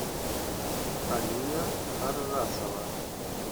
алина харрасова